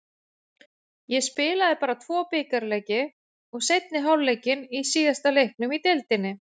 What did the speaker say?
Ég spilaði bara tvo bikarleiki og seinni hálfleikinn í síðasta leiknum í deildinni.